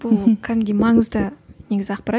бұл кәдімгідей маңызды негізі ақпарат